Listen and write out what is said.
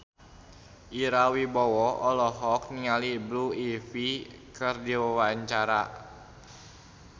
Ira Wibowo olohok ningali Blue Ivy keur diwawancara